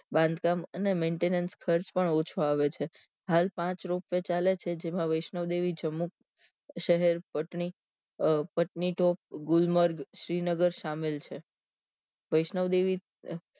બાંધકામ અને maintenance ખર્ચ પણ ઓછો આવે છે હાલ પાંચ ropeway ચાલે છે તેમાં વૈષ્ણોદેવી જમ્મુ શહેર પટની અ પટની તો ગુલમર્ગ શ્રીનગર સામેલ છે વૈષ્ણોદેવી